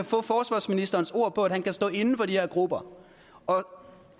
få forsvarsministerens ord på at han kan stå inde for de her grupper og herre